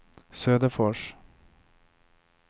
Söderfors